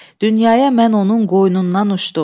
Dünyaya mən onun qoynundan uçdum.